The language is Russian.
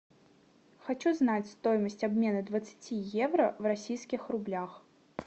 хочу знать стоимость обмена двадцати евро в российских рублях